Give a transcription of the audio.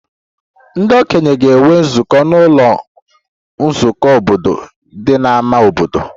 Ndị okenye ga-enwe nzukọ n'ụlọ nzukọ obodo dị n'ámá obodo